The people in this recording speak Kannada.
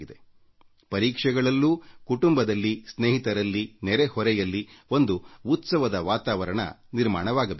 ಹೀಗಾಗಿ ಪರೀಕ್ಷೆಯ ಸಮಯದಲ್ಲಿ ಕೂಡ ಕುಟುಂಬದಲ್ಲಿ ಸ್ನೇಹಿತರಲ್ಲಿ ನೆರೆಹೊರೆಯಲ್ಲಿ ಒಂದು ಉತ್ಸವದ ವಾತಾವರಣ ನಿರ್ಮಾಣವಾಗಬೇಕು